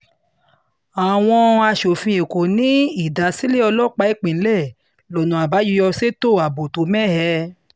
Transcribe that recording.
àwọn asòfin èkó ní ìdásílẹ̀ ní ìdásílẹ̀ ọlọ́pàá ìpínlẹ̀ lọ́nà àbáyọ ṣètò ààbò tó mẹ́hẹ